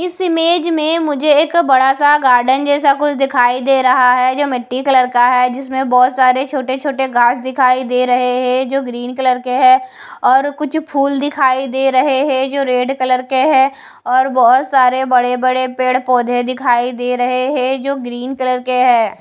इस इमेज में मुझे एक बड़ा सा गार्डन जैसा कुछ दिखाई दे रहा है जो मिट्टी कलर का है जिसमें बहोत सारे छोटे छोटे घास दिखाई दे रहे हैं जो ग्रीन कलर के हैं और कुछ फूल दिखाई दे रहे हैं जो रेड कलर के हैं और बहोत सारे बड़े बड़े पेड़ पौधे दिखाई दे रहे हैं जो ग्रीन कलर के है।